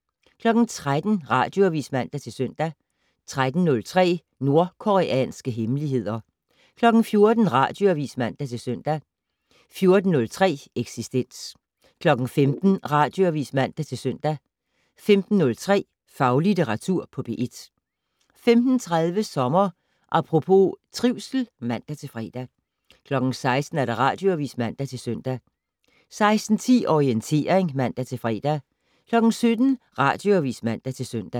13:00: Radioavis (man-søn) 13:03: Nordkoreanske hemmeligheder 14:00: Radioavis (man-søn) 14:03: Eksistens 15:00: Radioavis (man-søn) 15:03: Faglitteratur på P1 15:30: Sommer Apropos - trivsel (man-fre) 16:00: Radioavis (man-søn) 16:10: Orientering (man-fre) 17:00: Radioavis (man-søn)